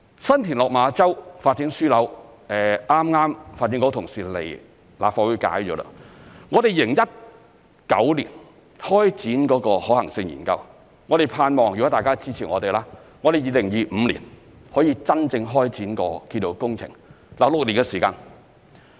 新田/落馬洲發展樞紐，剛剛發展局同事到立法會解說了，我們在2019年開展可行性研究，盼望如果大家支持我們 ，2025 年可以真正開展建造工程，當中6年的時間。